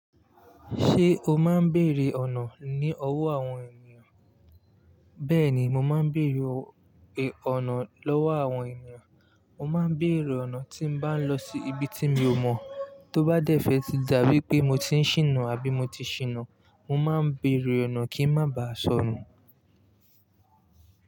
Ṣé o máa ń bèrè ọ̀nà ní ọwọ́ àwọn ènìyàn? Bẹ́ẹ̀ni, mo máa ń bèrè ọ̀nà lọ́wọ́ àwọn ènìyàn. Mo máa ń bèrè ọ̀nà tí n bá ń lọ sí ibi tí mi ò mọ̀. Tó bá dẹ́fẹ́ tí dà bí ípé mo ti ń ṣìnà àbí mo ti ṣìnà, mo máa ń bèrè ọ̀nà kí n má ba sọnù.